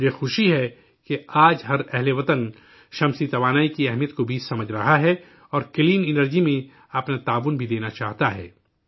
مجھے خوشی ہے کہ آج ملک کا ہر شہری شمسی توانائی کی اہمیت بھی سمجھ رہا ہے، اور کلیئر انرجی میں اپنا تعاون بھی دینا چاہتا ہے